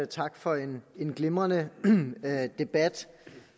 tak for en glimrende debat